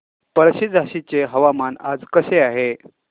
पळशी झाशीचे हवामान आज कसे आहे